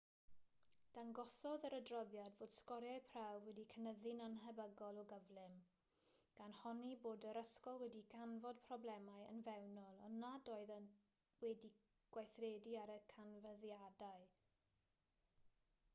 dangosodd yr adroddiad fod sgoriau prawf wedi cynyddu'n annhebygol o gyflym gan honni bod yr ysgol wedi canfod problemau yn fewnol ond nad oedd wedi gweithredu ar y canfyddiadau